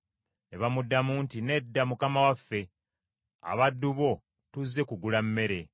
Ne bamuddamu nti, “Nedda mukama waffe; abaddu bo tuzze kugula mmere.